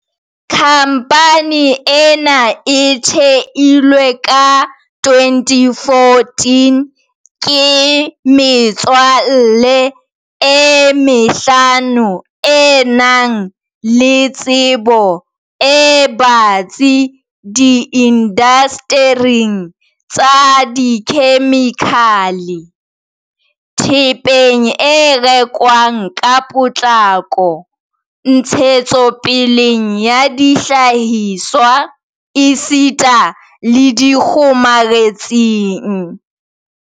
Khamphane ena e theilwe ka 2014 ke metswalle e mehlano e nang le tsebo e batsi di indastering tsa dikhemikhale, thepeng e rekwang ka potlako, ntshetsopeleng ya dihlahiswa esita le dikgomaretsing.